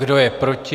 Kdo je proti?